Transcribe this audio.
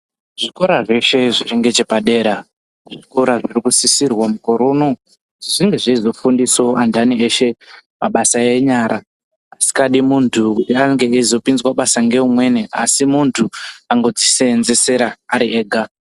Zvikora zveshe zviri ngechepadera ,zvikora zviri kusisirwa mukore unowu, zvinge zveizofundisawo antani eshe, mabasa enyara asikadi muntu nyange eizopinzwa basa ngeumweni, asi muntu angodzi seenzesera ari ega.